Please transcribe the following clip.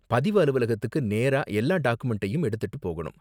பதிவு அலுவலகத்துக்கு நேரா எல்லா டாக்குமென்ட்டையும் எடுத்துட்டு போகணும்.